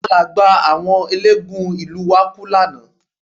Àlágbáà àwọn eléégún ìlú wa kú lánàá